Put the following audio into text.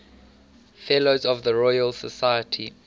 fellows of the royal society